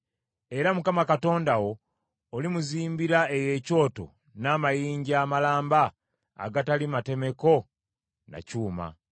Era Mukama Katonda wo olimuzimbira eyo ekyoto n’amayinja amalamba agatali matemeko na kyuma.